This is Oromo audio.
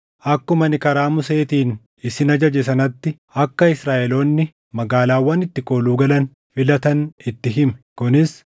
“Akkuma ani karaa Museetiin isin ajaje sanatti akka Israaʼeloonni magaalaawwan itti kooluu galan filatan itti himi;